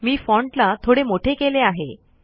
मी font ला थोडे मोठे केले आहे